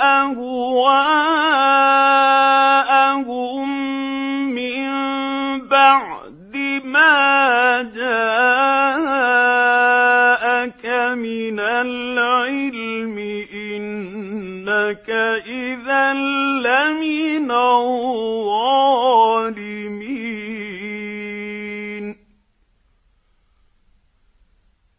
أَهْوَاءَهُم مِّن بَعْدِ مَا جَاءَكَ مِنَ الْعِلْمِ ۙ إِنَّكَ إِذًا لَّمِنَ الظَّالِمِينَ